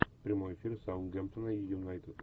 прямой эфир саутгемптона и юнайтед